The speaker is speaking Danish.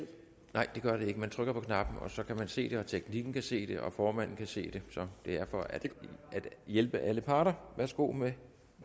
nej det gør det ikke man trykker på knappen så kan vi se det teknikken kan se det og formanden kan se det så det er for at hjælpe alle parter værsgo med den